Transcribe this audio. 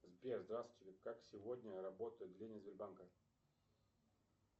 сбер здравствуйте как сегодня работают отделения сбербанка